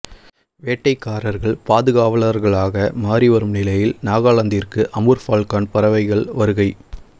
வேட்டைக்காரர்கள் பாதுகாவலர்களாக மாறி வரும் நிலையில் நாகலாந்திற்கு அமூர் ஃபால்கன் பறவைகள் வருகை